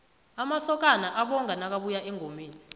amasokana abonga nakabuya engomeni